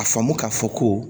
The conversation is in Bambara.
A faamu k'a fɔ ko